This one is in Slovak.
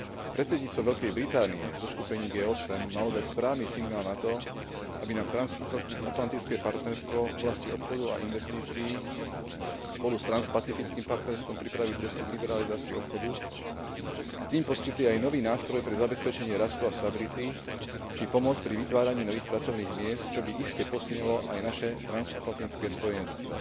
Predsedníctvo Veľkej Británie v zoskupení G8 malo dať správny signál na to, aby nám transatlantické partnerstvo v oblasti obchodu a investícií spolu s transpacifickým partnerstvom pripravilo cestu k liberalizácii obchodu a tým poskytlo aj nový nástroj na zabezpečenie rastu a stability či pomoc pri vytváraní nových pracovných miest, čo by iste posilnilo aj naše transatlantické spojenectvo.